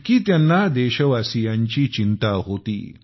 इतकी त्यांना देशवासीयांची चिंता होती